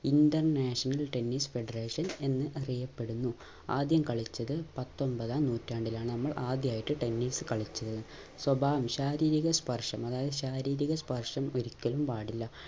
international tennis federation എന്നറിയപ്പെടുന്നു ആദ്യം കളിച്ചത് പത്തൊൻപതാം നൂറ്റാണ്ടിലാണ് നമ്മൾ ആദ്യായിട്ട് tennis കളിച്ചത് സ്വഭാവം ശാരീരിക സ്പർശം അതായത് ശാരീരിക സ്പർശം ഒരിക്കലും പാടില്ല